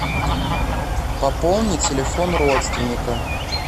пополни телефон родственника